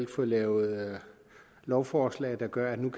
fået lavet lovforslag der gør at man